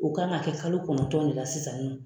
U kan ka kɛ kalo kɔnɔntɔn de la sisan nɔ.